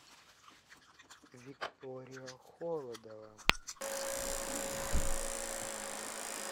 виктория холодова